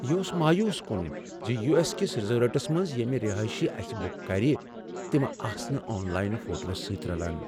یہ اوس کن ز یو ایس کس ریزورٹس منٛز یمہٕ رہٲیشہ اسہ بک کر تمہٕ آسہٕ نہٕ آن لائن فوٹو سۭتۍ رلان۔